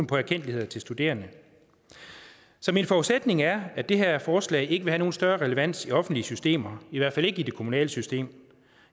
på erkendtligheder til studerende så min forudsætning er at det her forslag ikke vil have nogen større relevans i offentlige systemer i hvert fald ikke i det kommunale system